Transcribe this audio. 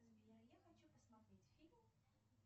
сбер я хочу посмотреть фильм